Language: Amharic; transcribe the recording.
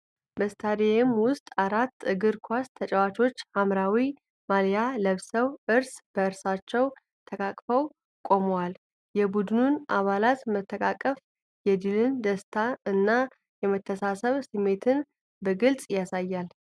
በስታዲየም ውስጥ አራት እግር ኳስ ተጫዋቾች ሐምራዊ ማልያ ለብሰው እርስ በርሳቸው ተቃቅፈው ቆመዋል። የቡድኑ አባላት መተቃቀፍ የድልን ደስታ እና የመተሳሰብ ስሜት በግልጽ ያሳያል።